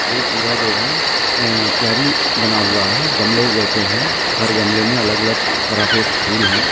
ये पूरा जो है अ क्यारी बना हुआ है गमले जैसे है हर गमले में अलग -अलग तरह के फूल है।